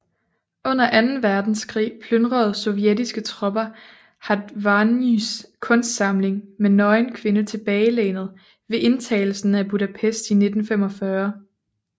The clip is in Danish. Under Anden verdenskrig plyndrede Sovjetiske tropper Hatvanys kunstsamling med Nøgen kvinde tilbagelænet ved indtagelsen af Budapest i 1945